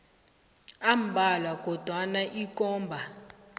ambalwa kodwana ikomba